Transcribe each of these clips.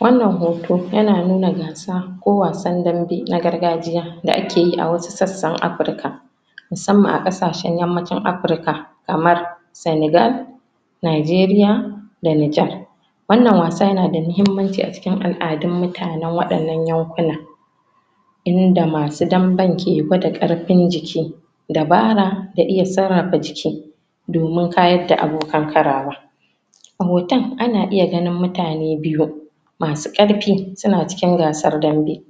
wannan hoto yana nuna gasa ko wasan dambe na gargajiya da akeyi a wasu sassan afirica musamman a ƙasashan yammacin africa kamar sanigal nigeria da nijar wannan wasa yana da mahimmanci a cikin al'adun mutanan waɗannan yankuna inda masu damben ke gwada karfin jiki dabara da iya sarrafa jiki domin ka yadda bokan karawa a hoton ana iya ganin mutane biyu masu karfi suna cikin wasan dambe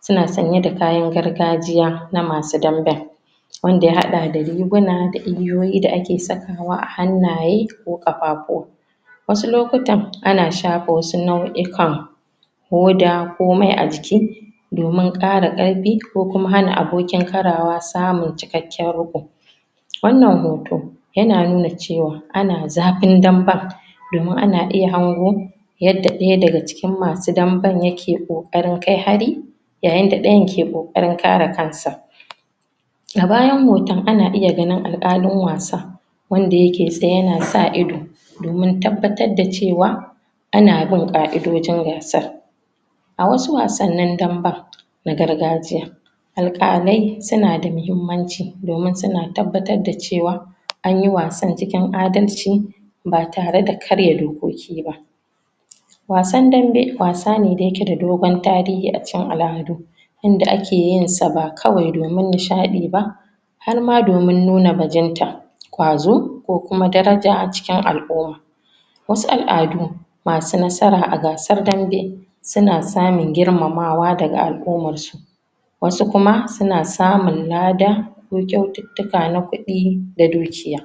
suna sanye da kayan gargajiya na masu danben wanda ya haɗa da riguna da igiyoyi dab ake sakawa a hannaye ko kafafuwa wasu lokutan ana shafa wasu nau'ikan huda ko mai a jiki domin ƙara karfi ko kuma hana abokin faɗa samun cikakƙin riƙko wannan hoto yana nuna cewaq ana zafin danben domin ana iya hango yanda ɗaya daga cikin masu danben yake ƙoƙarin kai hari yayin da ɗayan ke ƙoƙarin kare kansa a bayan hotan ana iya ganin al'ƙalin wasa wanda yake tsaye yana sa ido domin tabbatar da cewa ana bin ƙa'idojin gasar a wasu wasannin danben na gargajiya al'ƙalai suna da mahimmanci domin tabbatar da cewa anyi wasan cikin a dalci batare da ankarya dokoki ba wasan danbe wasane da yake da dogon tarihi a cikin al'adu inda ake yinsa ba kawai domin nishaɗi ba harma domin nuna bajinta ƙwazo ko kuma daraja cikin al'uma wasu al'adu masu nasara a gasar danbe suna samun girmamawa daga al'ummarsu wasu kuma suna samun lada ko kyaututtuka na kuɗi da dukiya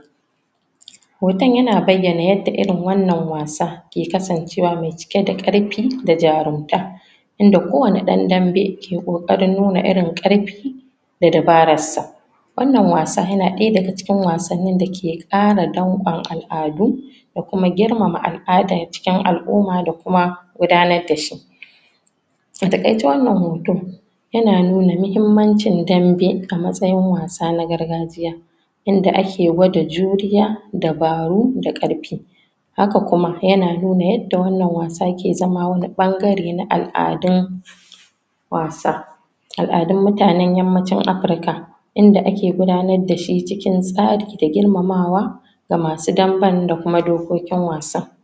hotan yana baiyana yadda irin wannan wasa ke kasancewa me cike da karfi da jarumta inda kowanne ɗan danbe ke nuna irin karfi da dabararsa wannan wasa yana ɗaya daga cikin wasanin dake ƙara danƙon al'adu da kuma girmama al'adan cikin al'umma da kuma gudanar dashi a taƙaice wannan hoto yana nuna mahimmancin danbe a matsayin wasa na gargajiya inda ake gwada juriya dabaru da karfi haka kuma yana nuna yanda wannan wasa ke zama wani ɓangare na al'adun wasa al'adun mutanan yammacin africa inda ake gudanar dashi cikin tsari da girmamawa ga masu danben da kuma dokokin wasa